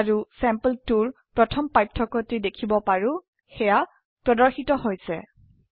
আৰু চেম্পল2 ৰ প্ৰথম পাৰ্থক্য টি দেখিব পাৰো সেয়া প্ৰদৰ্শিত হৈছে